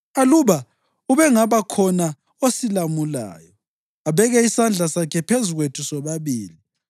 Aluba ubengabakhona osilamulayo, abeke isandla sakhe phezu kwethu sobabili,